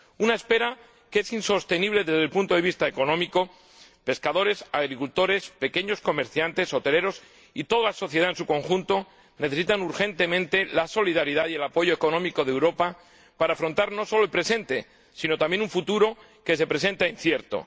Una espera que es insostenible desde el punto de vista económico pescadores, agricultores, pequeños comerciantes, hoteleros y toda la sociedad en su conjunto necesitan urgentemente la solidaridad y el apoyo económico de Europa para afrontar no sólo el presente, sino también un futuro que se presenta incierto.